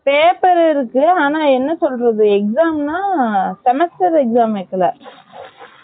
paper இருக்கு ஆனா என்ன சொல்றது exam ன்னா semester exam வைக்கல